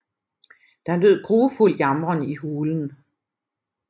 Der lød grufuld jamren i hulen